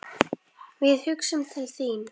Við hugsum til þín.